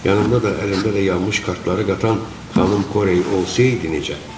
Yanında da, əlində də yanmış kartları qatan xanım Korey olsaydı necə?